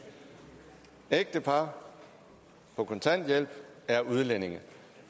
ægtepar på kontanthjælp er udlændinge